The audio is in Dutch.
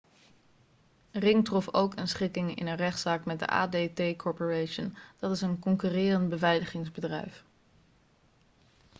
ring trof ook een schikking in een rechtszaak met de adt corporation dat is een concurrerend beveiligingsbedrijf